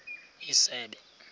isebe